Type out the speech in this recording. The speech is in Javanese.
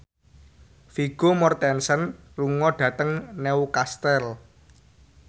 Vigo Mortensen lunga dhateng Newcastle